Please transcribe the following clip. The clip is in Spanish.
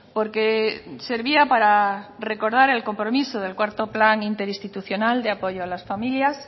porque servía para recordar el compromiso del cuarto plan interinstitucional de apoyo a las familias